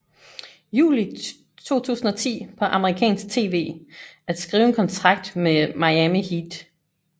Juli 2010 på Amerikansk TV at skrive en kontrakt med Miami Heat